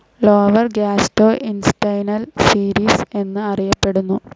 Lower gastrointestinal series എന്നും അറിയപ്പെടുന്നു.